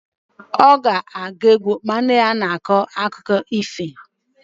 Ọ ga-agụ egwu ma nne ya na-akọ akụkọ ifo.